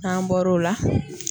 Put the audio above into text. N'an bɔr'o la